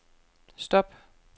stop